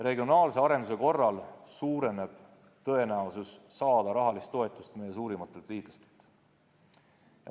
Regionaalse arenduse korral suureneb tõenäosus saada rahalist toetust meie suurimatelt liitlastelt.